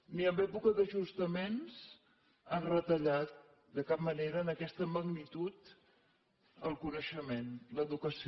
ni en època d’ajustaments han retallat de cap manera en aquesta magnitud el coneixement l’educació